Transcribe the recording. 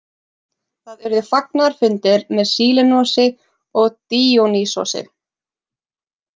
Þar urðu fagnaðarfundir með Sílenosi og Díonýsosi.